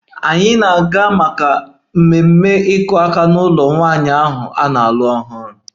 Anyị na-aga maka ememe "iku aka" n'ụlọ nwanyị ahụ na-alụ ọhụrụ"